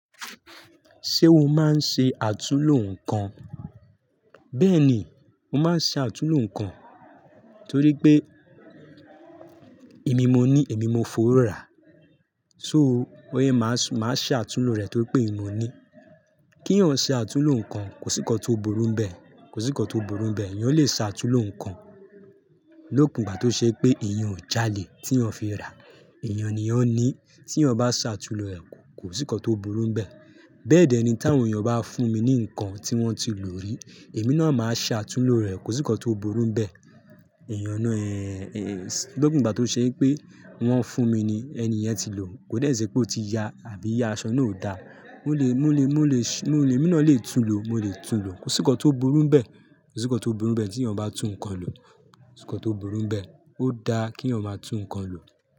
Ṣé o máa ń ṣe àtulò nǹkan? Bẹ́ẹ̀ni, mo máa ń ṣe àtulò nǹkan torí pé èmi mo ní, èmi mo fọ̀ rà. So, ó yẹ kí màá, màá ṣe àtulò rẹ̀ torí pé èmi mo ní. Kí èèyàn ṣe àtulò nǹkan kò sí kọ́ tó burú bẹ́ẹ̀, kò sí kọ́ tó burú n bẹ́ẹ̀. Èèyàn lè ṣe àtulò nǹkan lókun ìgbà tó ṣe pé èèyàn ò jáalè tí èèyàn fi rà. Èèyàn ni yan ní. Tí èèyàn bá ṣe àtulò rẹ̀ kò sí kọ́ tó burú n bẹ́ẹ̀. Bẹ́ẹ̀dẹ́ ni tí àwọn èèyàn bá fún mi ní nǹkan tí wọ́n ti lò rí, èmi náà máa ṣe àtulò rẹ̀ kò sí kọ́ tó burú bẹ́ẹ̀. Èèyàn náà, eh, eh, lókun ìgbà tó ṣe pé wọ́n fún mi ni ẹni yẹn ti lò, kò dẹ sẹ́ pé ó ti ya àbí iya aṣọ náà ò da. Mo lè, mo lè, mo lè ṣ-- mo lè, èmi náà lè tún lò, mo lè tún lò. Kò sí kọ́ tó burú n bẹ́ẹ̀, kò sí kọ́ tó burú bẹ́ẹ̀ tí èèyàn bá tún nǹkan lò. Kò sí kọ́ tó burú bẹ́ẹ̀. Ó da kí èèyàn máa tún nǹkan lò.